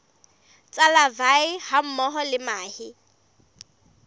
tsa larvae hammoho le mahe